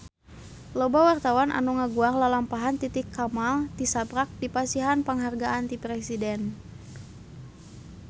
Loba wartawan anu ngaguar lalampahan Titi Kamal tisaprak dipasihan panghargaan ti Presiden